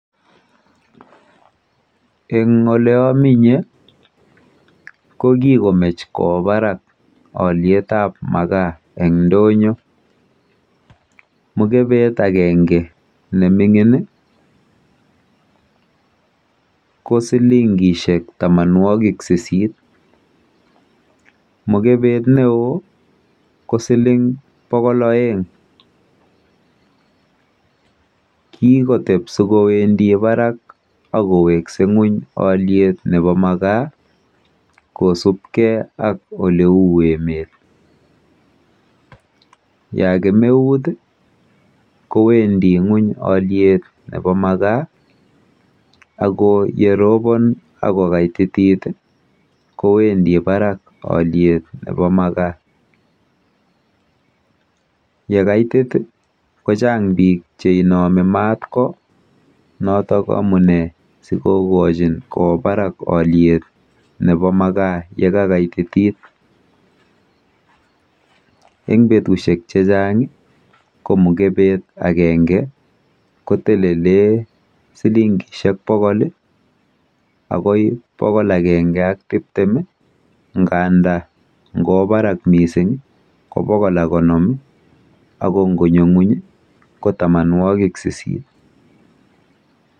Eng oleaminye ko kikomech kowo barak alyetap magaa eng ndonyo. Mukebet akenge neming'in ko silingishek tamanwokik sisit. Mukebet neo ko siling bokol oeng. Kikotep sikowendi barak akowekse ng'uny alyet nepo magaa kosubkei ak oleu emet. Ya kemeut kowendi ng'uny beit nepo magaa ako yeropon akokaititit kowendi barak beit nepo magaa. Yekaitit kochang biik cheinomi mat ko notok amune sikokochin kowo barak beit nepo magaa yekakaititit. Eng betushek chechang ko mukebet akenge kotelele silingishek bokol akoi bokol akenge ak tiptem nganda ngowo barak mising ko bokol ak konom ako ngonyo ng'uny ko tamanwokik sisit.